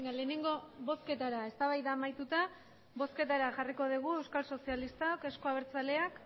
lehenengo bozketara eztabaida amaituta bozketara jarriko dugu euskal sozialistak euzko abertzaleak